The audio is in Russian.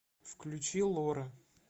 включи лора